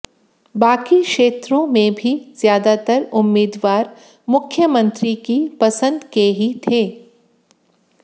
बाकी क्षेत्रों में भी ज्यादातर उम्मीदवार मुख्यमंत्री की पसंद के ही थे